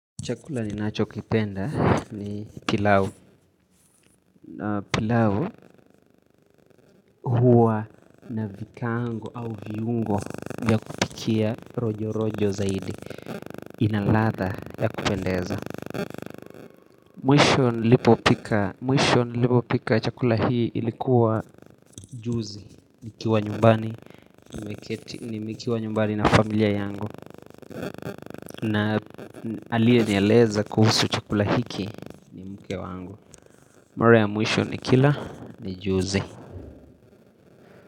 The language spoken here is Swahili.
Chakula ni nacho kipenda ni kilau pilau huwa na vikaango au viungo vYa kupikia rojo rojo zaidi inaladha ya kupendeza Mwisho nilipo pika chakula hii ilikuwa juzi nikiwa nyumbani na familia yangu na aliye nieleza kuhusu chakula hiki mke wangu mara ya mwisho nikila ni juzi.